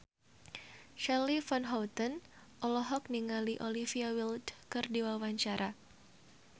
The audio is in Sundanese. Charly Van Houten olohok ningali Olivia Wilde keur diwawancara